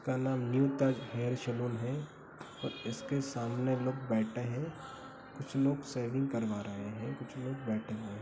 इसका नाम तक हेयर सलून है और इसके सामने लोग बैठे हैं। कुछ लोग शेविंग करवा रहे हैं कुछ लोग बैठे हैं।